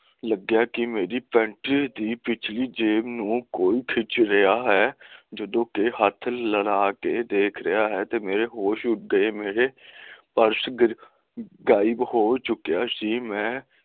ਲੱਗੀਆਂ ਕਿ ਮੇਰੀ ਪੇਂਟ ਦੀ ਪਿਛਲੀ ਜੇਬ ਨੂੰ ਕੋਈ ਖਿੱਚ ਰਿਹਾ ਹੈ ਤੇ ਹੱਥ ਲਣਾ ਕੇ ਦੇਖ ਰਿਹਾ ਹੈ ਤੇ ਮੇਰੇ ਹੋਸ਼ ਉੱਡ ਗਏ ਤੇ ਮੇਰੇ ਪਰਸ ਗਿਰ ਗਾਇਬ ਹੋ ਚੁੱਕਿਆ ਹੈ